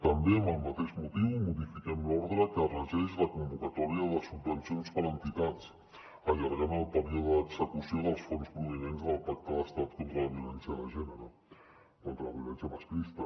també amb el mateix motiu modifiquem l’ordre que regeix la convocatòria de subvencions per a entitats allargant el període d’execució dels fons provinents del pacte d’estat contra la violència de gènere contra la violència masclista